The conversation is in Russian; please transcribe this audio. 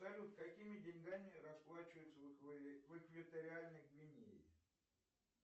салют какими деньгами расплачиваются в экваториальной гвинее